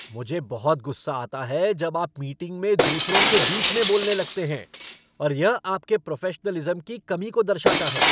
मुझे बहुत गुस्सा आता है जब आप मीटिंग में दूसरों के बीच में बोलने लगते हैं और यह आपके प्रोफ़ेशनलिज़्म की कमी को दर्शाता है।